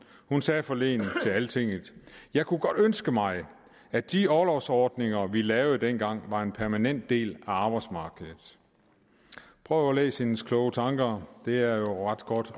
hun sagde forleden til altinget jeg kunne godt ønske mig at de orlovsordninger vi lavede dengang var en permanent del af arbejdsmarkedet prøv at læse hendes kloge tanker det er jo ret godt